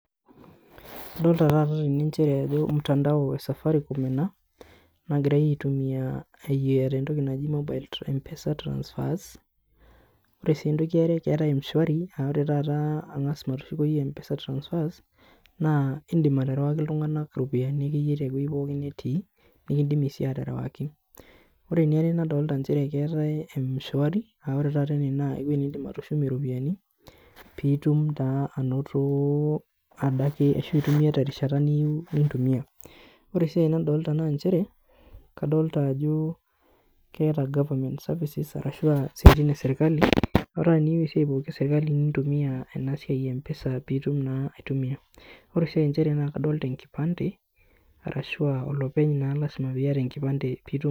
Adolta tata teninche ajo mtandao esafaricom ena nagirae aitumia entoki naji mobile mpesa transfers, ore entoki eare naa keetae mshwari aa ore taata matushukuyo mpesa transfers naa indim aterewaki iltunganak iropiyiani tewueji akeyie nitii , ore mshwari aa ore taata ene naa ewuei nindim atushumie iropiyiani pitum naa anoto ashu aitumia terishata niyieu nintumia , ore sii ae nadolta naa kadolta ajo keeta government services, ore tata piyieu isiatin esirkali nintumia isiatin mpesa pitum anoto , ore enasiai naa lasima piata enkipande.